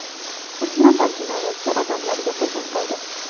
Uch nafar jinoyatchi odamlarga hujum qildi.